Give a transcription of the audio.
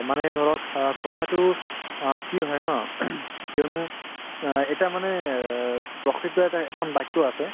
মানুহে ধৰক অ কথাতো অ কি হয় ন কিয়নো অ এতিয়া মানে অ প্ৰসিদ্ধ এটা এখন বাক্য আছে